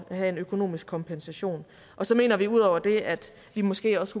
have en økonomisk kompensation så mener vi udover det at vi måske også